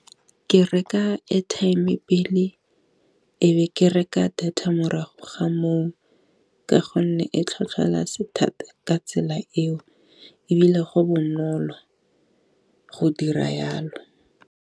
Ke reka airtime-e pele ebe ke reka data morago ga moo ka gonne e tlhotlholetsa thata ka tsela eo, e bile go bonolo ka go dira yalo.